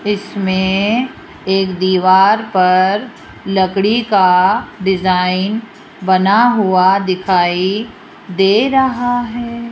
इसमें एक दीवार पर लकड़ी का डिजाइन बना हुआ दिखाई दे रहा है।